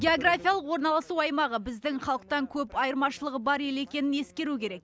географиялық орналасу аймағы біздің халықтан көп айырмашылығы бар ел екенін ескеру керек